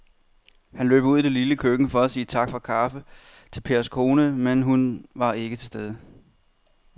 Han løb ud i det lille køkken for at sige tak for kaffe til Pers kone, men hun var ikke til at se.